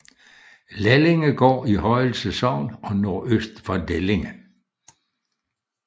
Lellingegaard i Højelse Sogn og nordøst for Lellinge